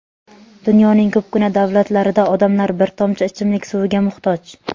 Dunyoning ko‘pgina davlatlarida odamlar bir tomchi ichimlik suviga muhtoj.